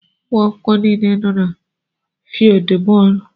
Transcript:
Umuakwukwo niile nọ na fieeldú bóólú.